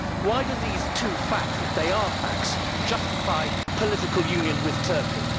Why do these two facts, if they are facts, justify political union with Turkey?